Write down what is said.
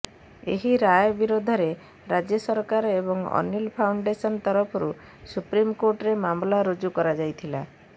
ଏହି ରାୟ ବିରୋଧରେ ରାଜ୍ୟ ସରକାର ଏବଂ ଅନୀଲ୍ ଫାଉଣ୍ଡେସନ୍ ତରଫରୁ ସୁପ୍ରିମକୋର୍ଟରେ ମାମଲା ରୁଜୁ କରାଯାଇଥିଲା